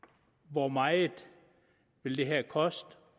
hvor meget vil det her koste